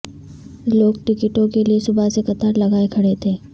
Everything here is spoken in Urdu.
لوگ ٹکٹوں کے لیےصبح سے قطار لگائے کھڑے تھے